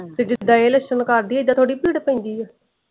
ਜਿਦਾ ਇਹ ਲੱਛਣ ਕਰਦੀ ਇੱਦਾ ਥੋੜੀ ਪੀੜ ਪੈਂਦੀ ਆ।